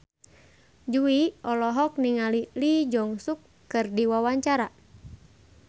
Jui olohok ningali Lee Jeong Suk keur diwawancara